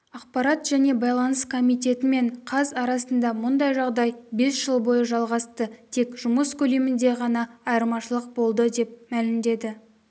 ақпарат және байланыс комитеті мен қаз арасында мұндай жағдай бес жыл бойы жалғасты тек жұмыс көлемінде ғана айырмашылық болды деп мәлімдеді